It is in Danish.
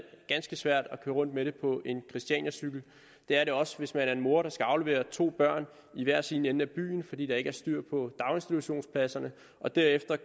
ganske svært at køre rundt med det på en christianiacykel det er også svært hvis man er en mor der skal aflevere to børn i hver sin ende af byen fordi der ikke er styr på daginstitutionspladserne og derefter